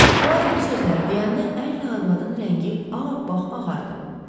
Poaro bu sözləri deyəndə ərlə arvadın rəngi ağappaq ağardı.